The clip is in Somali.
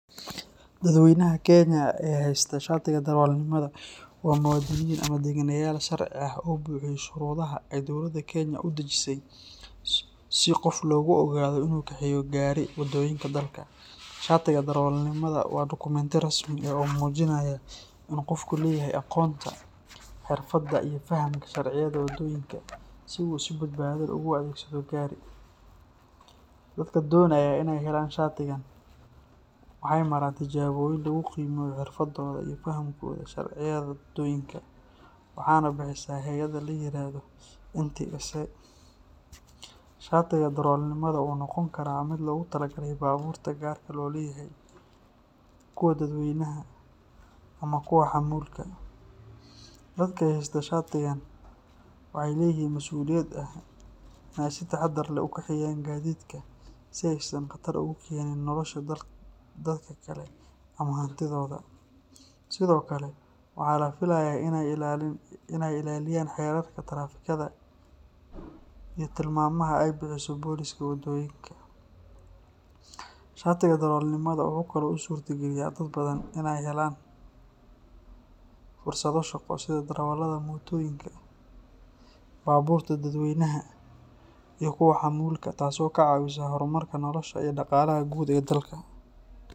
Dadweynaha Kenya ee haysta shatiga darawalnimada waa muwaadiniin ama deggeneyaal sharci ah oo buuxiyay shuruudaha ay dowladda Kenya u dejisay si qof loogu oggolaado inuu kaxeeyo gaari waddooyinka dalka. Shatiga darawalnimada waa dukumiinti rasmi ah oo muujinaya in qofku leeyahay aqoonta, xirfadda, iyo fahamka sharciyada waddooyinka si uu si badbaado leh ugu adeegsado gaari. Dadka doonaya inay helaan shatigan waxay maraan tijaabooyin lagu qiimeeyo xirfadooda iyo fahamkooda sharciyada waddooyinka, waxaana bixisa hay’adda la yiraahdo NTSA. Shatiga darawalnimada wuxuu noqon karaa mid loogu talagalay baabuurta gaarka loo leeyahay, kuwa dadweynaha, ama kuwa xamuulka. Dadka haysta shatigan waxay leeyihiin masuuliyad ah inay si taxaddar leh u kaxeeyaan gaadiidka si aysan khatar ugu keenin nolosha dadka kale ama hantidooda. Sidoo kale waxaa la filayaa inay ilaaliyaan xeerarka taraafikada iyo tilmaamaha ay bixiso booliska waddooyinka. Shatiga darawalnimada wuxuu kaloo u suurtageliyaa dad badan inay helaan fursado shaqo sida darawallada mootooyinka, baabuurta dadweynaha, iyo kuwa xamuulka, taasoo ka caawisa horumarinta noloshooda iyo dhaqaalaha guud ee dalka.